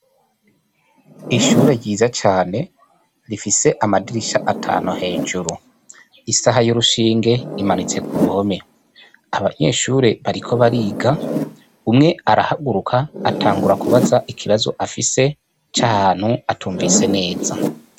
Ishure ryiza cane rifise amadirisha atanu hejuru isaha y'urushinge imanitse ku ruhome, abanyeshure bariko bariga umwe arahaguruka atangura kubaza ikibazo afise c'ahantu atumvise neza.